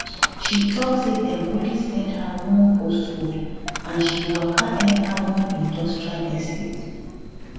she tok say dem only send her one postcode and she waka enta one industrial estate